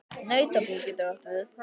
Nautabú getur átt við